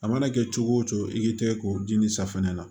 A mana kɛ cogo o cogo i k'i tɛgɛ k'o ji ni safinɛ na